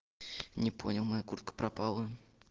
не понял моя куртка пропала